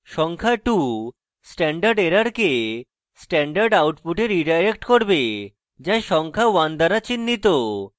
সংখ্যা 2 standard এররকে standard output redirect করবে যা সংখ্যা 1 দ্বারা চিন্হিত